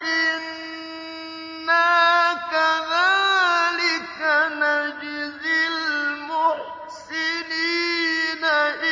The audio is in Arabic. إِنَّا كَذَٰلِكَ نَجْزِي الْمُحْسِنِينَ